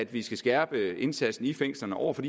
vi skal skærpe indsatsen i fængslerne over for